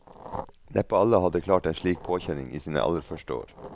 Neppe alle hadde klart en slik påkjenning i sine aller første år.